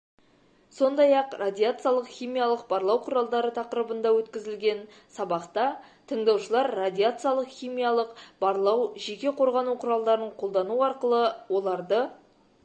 сондай-ақ радиациялық-химиялық барлау құралдары тақырыбында өткізілген сабақта тыңдаушылар радияциялық-химиялық барлау жеке қорғану құралдарын қолдану арқылы оларды